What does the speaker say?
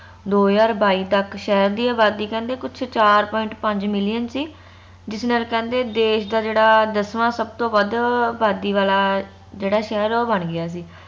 ਦੋ ਹਜਾਰ ਬਾਈ ਤਕ ਸ਼ਹਿਰ ਦੀ ਅਬਾਦੀ ਕਹਿੰਦੇ ਕੁਛ ਚਾਰ point ਪੰਜ million ਸੀ ਜਿਸ ਨਾਲ ਕਹਿੰਦੇ ਦੇਸ਼ ਦਾ ਜੇਹੜਾ ਦਸਵਾ ਸਬਤੋ ਵਧ ਅਬਾਦੀ ਵਾਲਾ ਜੇਹੜਾ ਸ਼ਹਿਰ ਹੈ ਉਹ ਬਣ ਗਿਆ ਸੀ